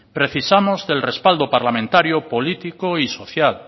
precisamos del respaldo parlamentario político y social